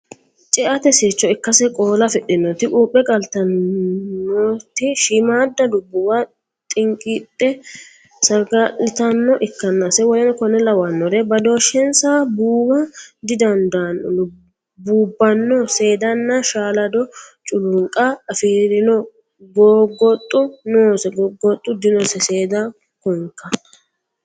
Ceate sircho ikkansa Qoola afidhinoreeti Quuphe qaltannoreeti Shiimmaadda lubbuwa xinqidhe saga litannore ikkansa w k l Badooshshensa buuwa didandanno buubbanno seedanna shaalado culunqa afi rino goggoxxo noose goggoxxo dinosi seeda konka.